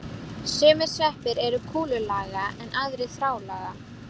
Sumir sveppir eru kúlulaga en aðrir þráðlaga.